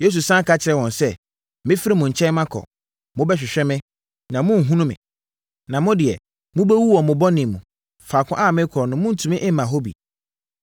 Yesu sane ka kyerɛɛ wɔn sɛ, “Mɛfiri mo nkyɛn makɔ; mobɛhwehwɛ me, na morenhunu me. Na mo deɛ, mobɛwu wɔ mo mu. Faako a merekɔ no morentumi mma hɔ bi.”